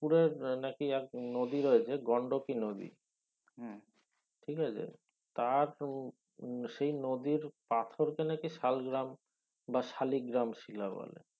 পুরের না কি এক নদী রয়েছে গন্ডোবি নদী ঠিক আছে তার পু সেই নদীর পাথরকে না কি শাল্গ্রাম বা শালি গ্রাম শিলা বলা